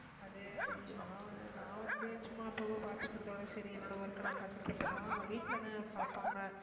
அது நான் நான் வந்து சும்மா அப்பப்ப பார்த்துக்கிறதோட சரி என்னோட work அ நான் பார்த்துட்டு இருப்பேனா வீட்டுலதான் பார்ப்பாங்க